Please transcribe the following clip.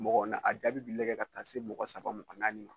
Mɔgɔ a jaabi bi lajɛ ka taa se mɔgɔ saba mɔgɔ naani ma